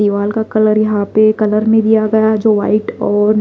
दीवाल का कलर यहां पे कलर में दिया गया है जो वाइट और--